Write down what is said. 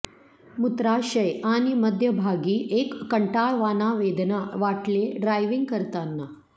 मूत्राशय आणि मध्यभागी एक कंटाळवाणा वेदना वाटले ड्रायव्हिंग करताना